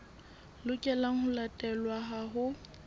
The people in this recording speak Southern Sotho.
lokelang ho latelwa ha ho